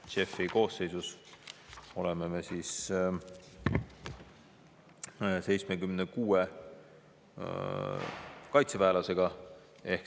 JEF-i koosseisus oleme 76 kaitseväelasega.